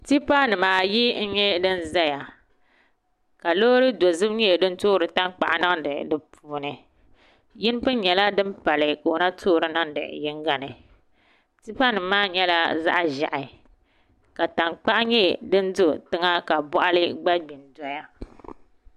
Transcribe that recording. tipanima ayi n-nyɛ din zeya ka loori dozim-------- toori taŋk-aɣu niŋdi di puuni yini puŋ nyɛla din pali ka o na toori niŋdi yiŋ-a ni tipanima maa nyɛla za-'ʒiɛhi ka taŋkpaɣu nyɛ din do tiŋa ka bɔɣili gba gbi n-doya